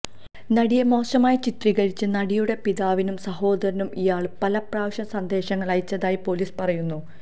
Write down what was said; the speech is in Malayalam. നടിയ മോശമായി ചിത്രീകരിച്ച് നടിയുടെ പിതാവിനും സഹോദരനും ഇയാള് പല പ്രാവശ്യം സന്ദേശങ്ങള് അയച്ചതായി പോലിസ് പറയുന്നു